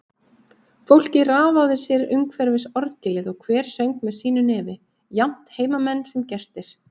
Fólkið raðaði sér umhverfis orgelið, og hver söng með sínu nefi, jafnt heimamenn sem gestir.